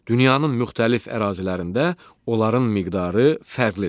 Dünyanın müxtəlif ərazilərində onların miqdarı fərqlidir.